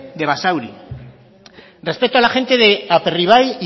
de basauri respecto a la gente de aperribai